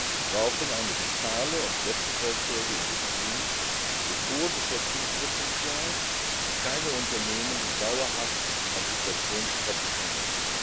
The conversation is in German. Wir brauchen eine vitale und wettbewerbsfähige Industrie mit hohem Beschäftigungspotential und keine Unternehmen, die dauerhaft am Subventionstropf hängen.